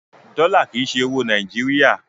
Dọ́là kì í ṣe owó Nàìjíríà.